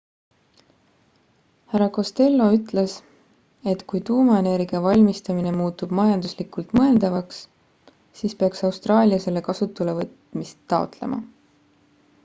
hr costello ütles et kui tuumaenergia valmistamine muutub majanduslikult mõeldavaks siis peaks austraalia selle kasutuselevõtmist taotlema